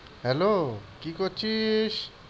Hello কি করছিস?